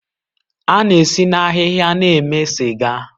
A na-esi na ahịhịa na-eme sịga